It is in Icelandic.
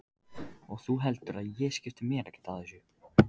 Og þú heldur að ég skipti mér ekkert af þessu?